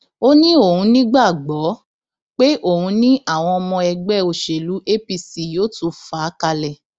ó ní òun nígbàgbọ pé òun ni àwọn ọmọ ẹgbẹ òṣèlú apc yóò tún fa kalẹ